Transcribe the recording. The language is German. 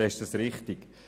Das ist richtig.